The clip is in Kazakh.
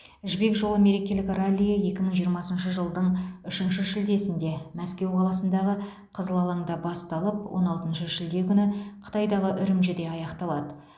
жібек жолы мерекелік раллиі екі мың жиырмасыншы жылдың үшінші шілдесінде мәскеу қаласындағы қызыл алаңда басталып он алтыншы шілде күні қытайдағы үрімжіде аяқталады